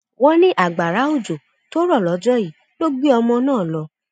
wọn ní agbára òjò tó rọ lọjọ yìí ló gbé ọmọ náà lọ